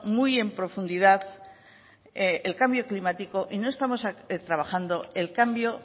muy en profundidad el cambio climático y no estamos trabajando el cambio